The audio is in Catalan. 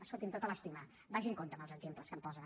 escolti’m amb tota l’estima vagi amb compte amb els exemples que em posa